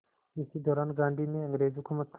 इसी दौरान गांधी ने अंग्रेज़ हुकूमत